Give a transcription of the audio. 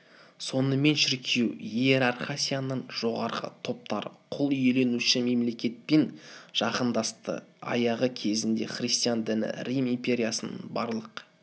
сонымен шіркеу иерархиасының жоғарғы топтары құл иеленуші мемлекетпен жақындасты аяғы кезінде христиан діні рим империясының барлық